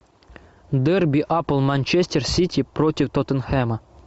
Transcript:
дерби апл манчестер сити против тоттенхэма